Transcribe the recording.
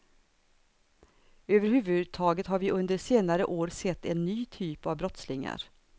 Överhuvudtaget har vi under senare år sett en ny typ av brottslingar.